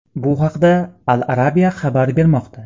Bu haqda Al-Arabia xabar bermoqda .